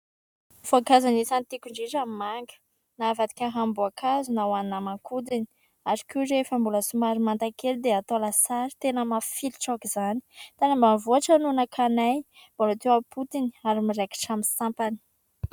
Voankazo anisan'ny tiako indrindra ny manga. Na avadika ranom-boankazo na hohanina aman-kodiny. Ary koa rehefa mbola somary manta kely dia atao lasary, tena mafilotra aok'izany. Tany ambanivohitra no nakanay, mbola teo am-potony ary miraikitra amin'ny sampany.